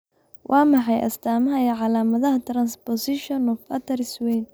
Waa maxay astaamaha iyo calaamadaha Transposition of arteries weyn?